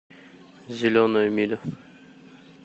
зеленая миля